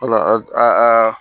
Wala aa